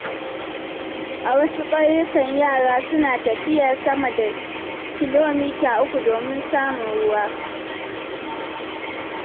A wasu ƙauyukan, yara suna tafiya sama da kilomita uku domin samun ruwa.